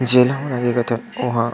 जेला हमन लेगत हन ओ ह--